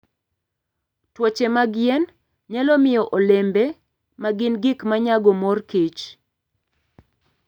Tuoche mag yien nyalo miyo olembe ma gin gik ma nyago mor kich.